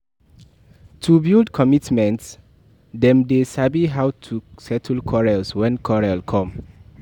To build commitment them de sabi how to settle quarrels too when quarrel come